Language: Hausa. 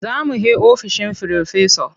Za mu he ofishin Firofesa.